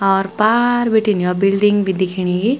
अर पार बीटिन यौ बिल्डिंग भी दिखेणी --